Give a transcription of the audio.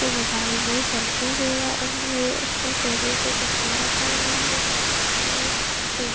ये मोबाइल मे सेल्फी ले रहा उसका टेबल पे चश्मा रखा हुआ है पर्श रखा है के --